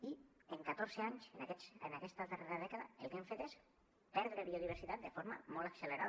i en catorze anys en aquesta darrera dècada el que hem fet és perdre biodiversitat de forma molt accelerada